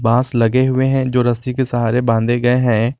बांस लगे हुए हैं जो रस्सी के सहारे बांधे गए है।